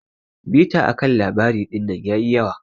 Bita akan labari dinnan yayi yawa.